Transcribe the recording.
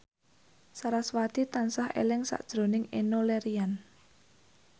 sarasvati tansah eling sakjroning Enno Lerian